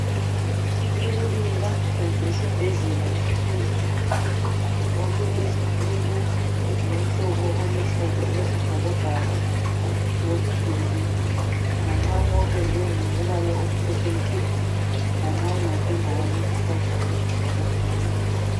Ikilinika kumbe isibhedlela esikhulu okulezitulo ezilomhlobo oluhlaza okwesibhakabhaka lomduli opendwe nganxanye ngombala omhlophe nke nganxanye wapendwa ngokuluhlaza okwesibhakabhaka